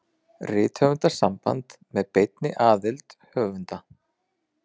Rithöfundasamband með beinni aðild höfunda.